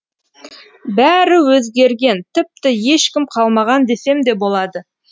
бәрі өзгерген тіпті ешкім қалмаған десемде болады